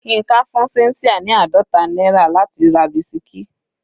Yinka fún cynthia ní àádọta náírà láti ra bisikí.